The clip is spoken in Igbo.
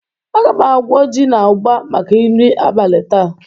Aga m agwọ ji na ụgba maka nri abalị taa.